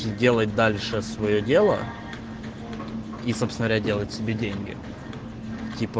сделать дальше своё дело и собственно говоря делать себе деньги типа